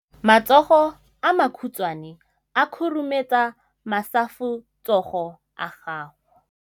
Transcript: Matsogo a makhutshwane a khurumetsa masufutsogo a gago.